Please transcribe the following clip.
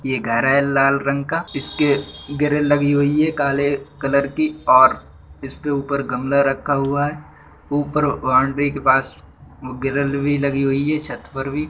یہ گھر ہے لال رنگ کا، اِس کے گرِل لگی ہوئی ہے کالے کلر کی اور اِس پہ اوپر گملا رکھا ہوا ہے۔ اوپر باؤنڈری کے پاس گرِل بھی لگی ہوئی ہے، چھت پر بھی --